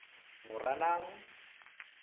moranang